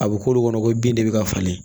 A bɛ k'olu kɔnɔ ko bin de bɛ ka falen